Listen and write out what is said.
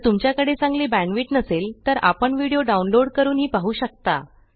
जर तुमच्याकडे चांगली बॅण्डविड्थ नसेल तर आपण व्हिडिओ डाउनलोड करूनही पाहू शकता